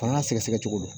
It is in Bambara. Fanga sɛgɛsɛgɛcogo don